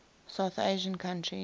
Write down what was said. south asian countries